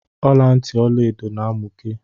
Ọlantị Ọlaedo na amụke.